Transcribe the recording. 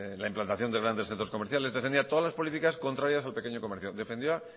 la implantación de grandes centro comerciales defendía todas las políticas contrarias al pequeño comercio defendía